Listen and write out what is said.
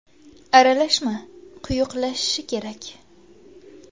Aralashma quyuqlashishi kerak.